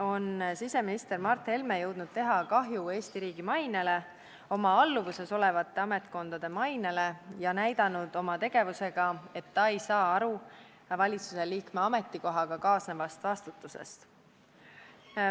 on siseminister Mart Helme jõudnud teha kahju Eesti riigi mainele ja oma alluvuses olevate ametkondade mainele ning näidanud oma tegevusega, et ta ei saa aru valitsusliikme ametikohaga kaasnevast vastutusest.